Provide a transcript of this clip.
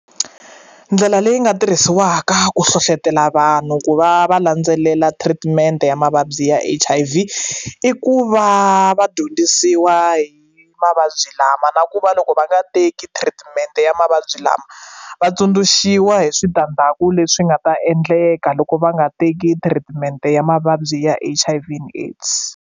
Ndlela leyi nga tirhisiwaka ku hlohlotelo vanhu ku va va landzelela treatment ya mavabyi ya H_I_V i ku va va dyondzisiwa hi mavabyi lama na ku va loko va nga teki treatment ya mavabyi lama va tsundzuxiwa hi switandzhaku leswi nga ta endleka loko va nga teki treatment ya mavabyi ya H_I_V and AIDS.